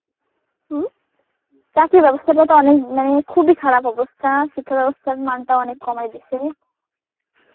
চাকরির ব্যবস্থাটা তো অনেক মানে খুবই খারাপ অবস্থা. শিক্ষার ব্যবস্থার মানটা অনেক কমায় দিছে.